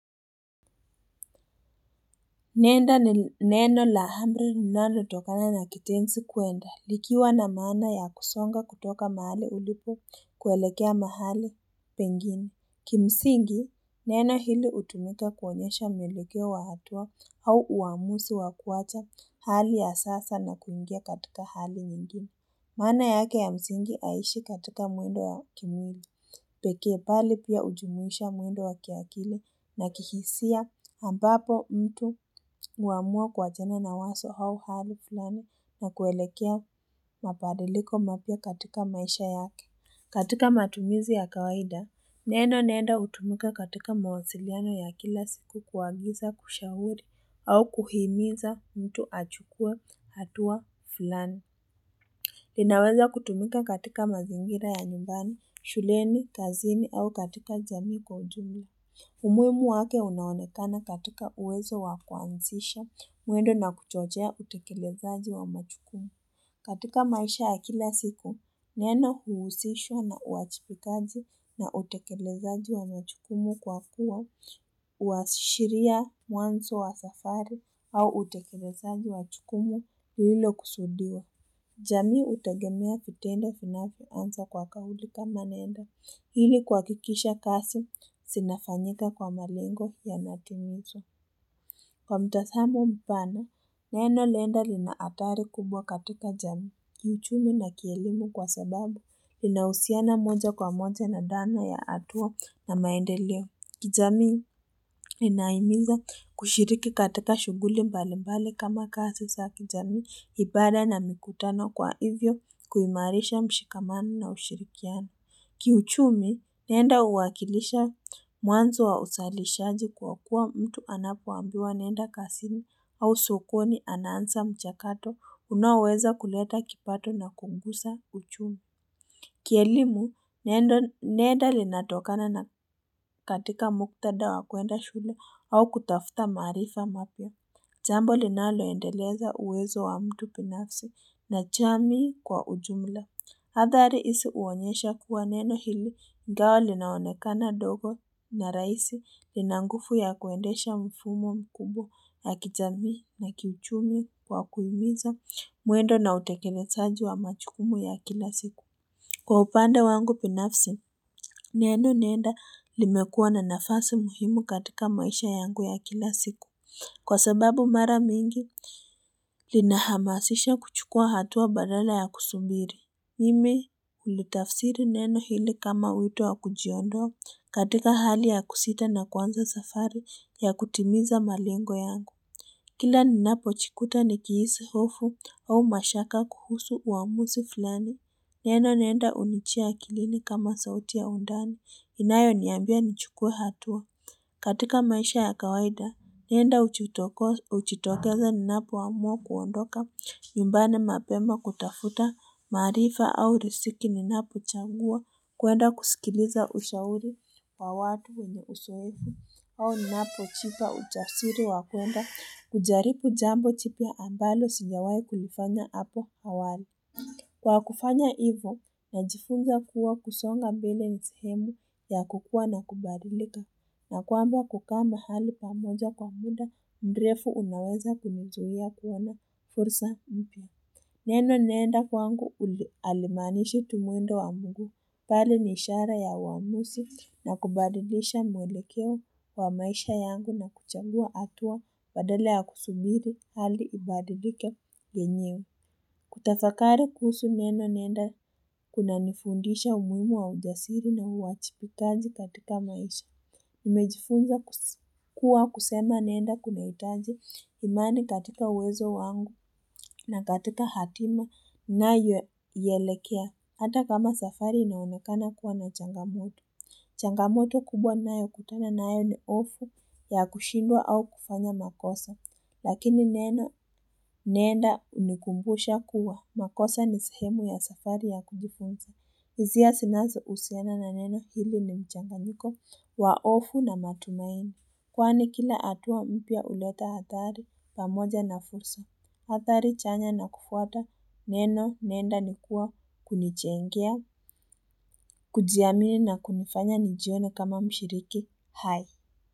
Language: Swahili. Nenda ni neno la hamri nilalotokana na kitensi kuenda. Likiwa na maana ya kusonga kutoka mahali ulipo kuelekea mahali pengine. Kimsingi, neno hili utumika kuonyesha mwelekeo wa hatua au uamusi wa kuwacha hali ya sasa na kuingia katika hali nyingine. Maana yake ya msingi aishi katika muendo ya kimwili, peke mbali pia hujumuisha mwendo wa kiakili na kihisia ambapo mtu huamua kuachana na waso hau hali fulani na kuelekea mabadiliko mapya katika maisha yake. Katika matumizi ya kawaida, neeno nenda hutumika katika mawasiliano ya kila siku kuagiza, kushahuri au kuhimiza mtu achukue hatua fulani. Linaweza kutumika katika mazingira ya nyumbani, shuleni, kazini au katika jamii kwa ujumla. Umuimu wake unaonekana katika uwezo wakuanzisha, muendo na kuchochea utekelezaji wa majukumu. Katika maisha ya kila siku, neno huhusishwa na uajibikaji na utekelezaji wa majukumu kwa kuwa huashiria muanzo wa safari au utekelezaji wa jukumu lililokusudiwa jamii hutegemea vitendo vinavyoanza kwa kauli kama nenda. Ili kuhakikisha kasi zinafanyika kwa malengo yanatimizwa Kwa mtasamo mpana, neno lenda lina hatari kubwa katika jamii. Kiuchumi na kielimu kwa sababu, linahusiana moja kwa moja na dhana ya atua na maendeleo. Kijamii linahimiza kushiriki katika shughuli mbali mbali kama kasi sa kijamii, ibada na mikutano kwa hivyo kuimarisha mshikamano na ushirikiano. Kiuchumi, nenda uwakilisha mwanzo wa usalishaji kwa kuwa mtu anapoambiwa nenda kasini au sokoni anansa mchakato unaoweza kuleta kipato na kungusa uchumi. Kielimu nendo nenda linatokana na katika muktada wa kuenda shule au kutafuta marifa mapya. Jambo linaloendeleza uwezo wa mtu pinafsi na chamii kwa ujumla. Hadhari isi uonyesha kuwa neno hili ingawa linaonekana dogo na raisi lina ngufu ya kuendesha mfumo mkubwa ya kijamii na kiuchumi kwa kuhimiza muendo na utekelezaji wa majukumu ya kila siku. Kwa upande wangu binafsi, neno nenda limekuwa na nafasi muhimu katika maisha yangu ya kila siku, kwa sababu mara mingi linahamasisha kuchukua hatua badala ya kusumbiri. Mimi hulitafsiri neno hili kama wito wa kujiondoa katika hali ya kusita na kwanza safari ya kutimiza malengo yangu. Kila ninapo chikuta nikihisi hofu au mashaka kuhusu uamusi fulani. Neno nenda unichia akilini kama sauti ya undani, inayoniambia nichukue hatua. Katika maisha ya kawaida, nenda hujitokoa uchitokeza ninapoamua kuondoka, nyumbani mapema kutafuta, maarifa au risiki ninapochangua, kuenda kusikiliza ushauri wa watu wenye uzoefu, au ninapo chipa uchasiri wa kuenda, kujaribu jambo jipya ambalo sijawai kulifanya hapo awali. Kwa kufanya ivo najifunza kuwa kusonga mbele ni sehemu ya kukua na kubadilika na kwamba kukaa hali pamoja kwa muda mrefu unaweza kunizuia kuona fursa mpya. Neno nenda kwangu uli alimanishi tu mwendo wa mguu mbali ni ishara ya uamusi na kubadilisha mwelekeo wa maisha yangu na kuchagua atua badala ya kusubiri hali ibadilike yenyewe. Kutafakari kuhusu neno nenda kunanifundisha umuimu wa ujasiri na uachipikaji katika maisha. Nimejifunza kus kuwa kusema nenda kuna itaji imani katika uwezo wangu na katika hatima nayoielekea. Hata kama safari inaonekana kuwa na changamoto. Changamoto kubwa nayokutana nayo ni ofu ya kushindwa au kufanya makosa. Lakini neno nenda unikumbusha kuwa makosa ni sehemu ya safari ya kujifunza. Hizia sinazo usiana na neno hili ni mchanganiko wa ofu na matumaini. Kwani kila atua mpya uleta hathari pamoja na fursa. Athari chanya na kufuata neno nenda ni kuwa kunichengea. Kujiamini na kunifanya ni jione kama mshiriki hai.